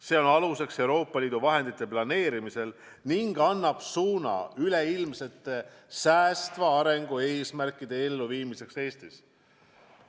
See on aluseks Euroopa Liidu vahendite planeerimisel ning annab suuna üleilmsete säästva arengu eesmärkide elluviimiseks Eestis.